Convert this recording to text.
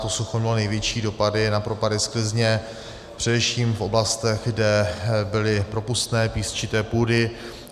To sucho mělo největší dopady na propady sklizně především v oblastech, kde byly propustné písčité půdy.